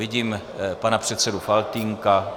Vidím pana předsedu Faltýnka.